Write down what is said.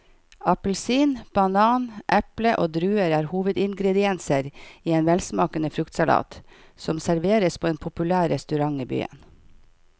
Appelsin, banan, eple og druer er hovedingredienser i en velsmakende fruktsalat som serveres på en populær restaurant i byen.